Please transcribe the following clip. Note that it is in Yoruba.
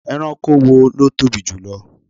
Ẹranko wo ló tóbi jù lọ?